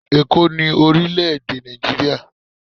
eko ni orile ede naijiria